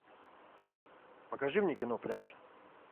покажи мне кино пляж